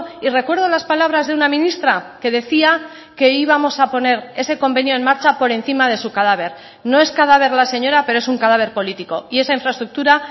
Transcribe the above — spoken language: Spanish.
y recuerdo las palabras de una ministra que decía que íbamos a poner ese convenio en marcha por encima de su cadáver no es cadáver la señora pero es un cadáver político y esa infraestructura